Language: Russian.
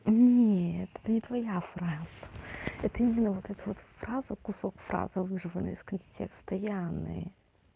нет это не твоя фраза это именно вот эта вот фраза кусок фразы вырваный из контекста яны